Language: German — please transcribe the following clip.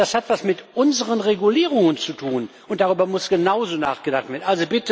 Das hat etwas mit unseren Regulierungen zu tun, und darüber muss genauso nachgedacht werden.